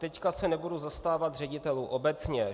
Teď se nebudu zastávat ředitelů obecně.